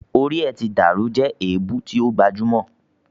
"o rí rẹ tí dàrú" is a popular insult.